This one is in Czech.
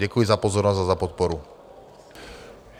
Děkuji za pozornost a za podporu.